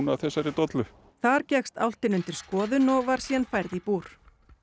af þessari dollu þar gekkst álftin undir skoðun og var síðan færð í búr